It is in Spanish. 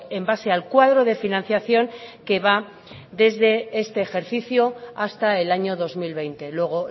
en base al cuadro de financiación que va desde este ejercicio hasta el año dos mil veinte luego